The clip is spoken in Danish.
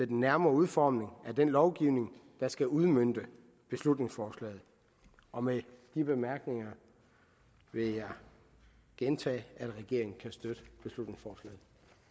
den nærmere udformning af den lovgivning der skal udmønte beslutningsforslaget og med de bemærkninger vil jeg gentage at regeringen kan støtte beslutningsforslaget